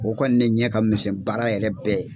O kɔni de ɲɛ ka misɛn baara yɛrɛ bɛɛ ye.